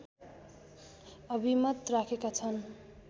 अभिमत राखेका छन्